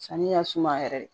Sanni ka suma yɛrɛ de